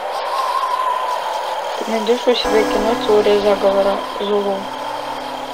ты найдешь у себя кино теория заговора зулу